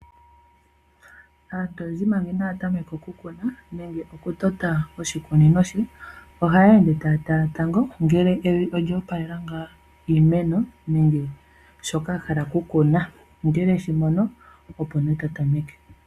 Aantu oyendji manga inaya tameka okukuna nenge oku tota ishikunino she, ohaya ende taya tala tango ngele evi olyo opalela ngaa iimeno nenge shoka ahala okukuna . Ngele okweshimono opo nee tatameke.